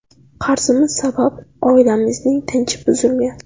Qarzimiz sabab oilamizning tinchi buzilgan.